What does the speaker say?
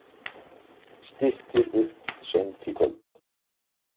Styttir upp seint í kvöld